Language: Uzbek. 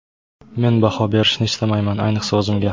Men baho berishni istamayman, ayniqsa o‘zimga.